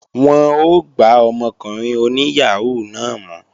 Wọ́n ó gbá ọmọkùnrin oní yàhóó náà mú